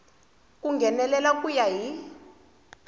ku nghenelela ku ya hi